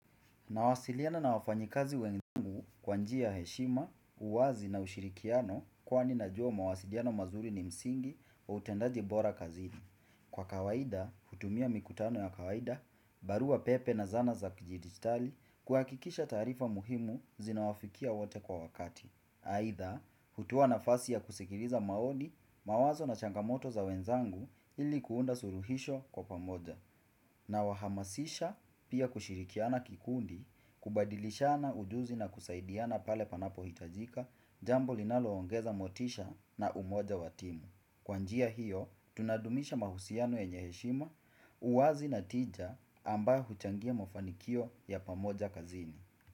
Nawasiliana na wafanyikazi wenzangu kwa njia ya heshima, uwazi na ushirikiano kwani najua mawasiliano mazuri ni msingi wa utendaji bora kazini. Kwa kawaida, hutumia mikutano ya kawaida, barua pepe na zana za kijidigitali kuhakikisha taarifa muhimu zinawafikia wote kwa wakati. Aidha, hutoa nafasi ya kusikiliza maoni, mawazo na changamoto za wenzangu ili kuunda suluhisho kwa pamoja. Nawahamasisha pia kushirikiana kikundi kubadilishana ujuzi na kusaidiana pale panapo hitajika jambo linaloongeza motisha na umoja watimu. Kwanjia hiyo, tunadumisha mahusiano yenye heshima, uwazi na tija ambayo huchangia mafanikio ya pamoja kazini.